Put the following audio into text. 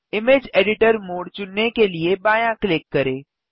image editor mode चुनने के लिए बायाँ क्लिक करें